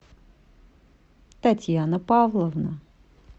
татьяна павловна